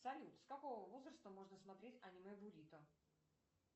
салют с какого возраста можно смотреть аниме бурито